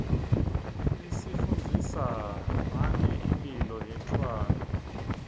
is ifundzisa mange mphilo yetrwane